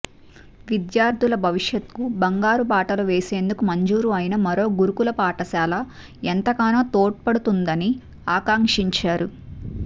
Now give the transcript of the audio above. విద్యార్థుల భవిష్యత్కు బంగారు బాటలు వేసేందుకు మంజూరు అయిన మరో గురుకుల పాఠశాల ఎంతోగానో తోడ్పడ నుందని ఆకాంక్షించారు